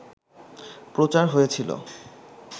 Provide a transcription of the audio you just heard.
প্রচার হয়েছিল